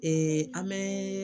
an bɛ